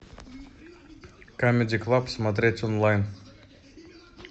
камеди клаб смотреть онлайн